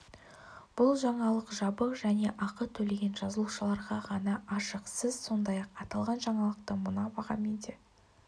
бұл жаңалық жабық және ақы төлеген жазылушыларға ғана ашық сіз сондай-ақ аталған жаңалықты мына бағамен де